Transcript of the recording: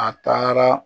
A taara